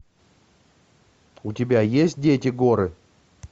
у тебя есть дети горы